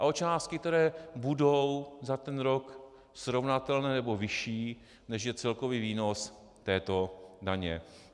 A o částky, které budou za ten rok srovnatelné nebo vyšší, než je celkový výnos této daně.